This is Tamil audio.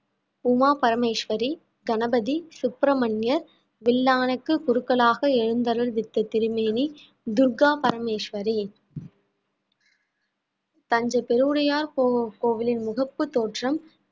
உமா பரமேஸ்வரி, கணபதி, சுப்பிரமண்யர், வில்லானைக்கு குருக்களாக எழுந்தருள்வித்த திருமேனி, துர்க்கா பரமேஸ்வரி தஞ்சை பெருவுடையார் கோ~ கோவிலின் முகப்பு தோற்றம்